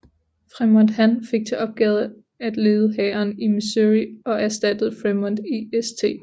Frémont Han fik til opgave at lede hæren i Missouri og erstattede Frémont i St